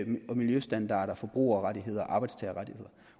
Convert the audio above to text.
miljøstandarder forbrugerrettigheder